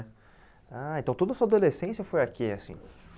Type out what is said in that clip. Ah, então toda a sua adolescência foi aqui, assim?